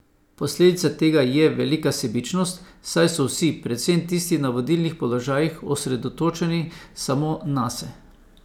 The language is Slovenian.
Posledica tega je velika sebičnost, saj so vsi, predvsem tisti na vodilnih položajih, osredotočeni samo nase.